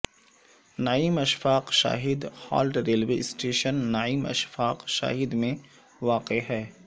نعیم Ashfaq Shahid halt railway station Naeem Ashfaq Shahid میں واقع ہے